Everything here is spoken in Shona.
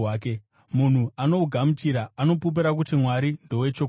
Munhu anohugamuchira, anopupura kuti Mwari ndowechokwadi.